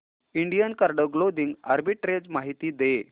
Indian card clothing arbitrage माहिती दे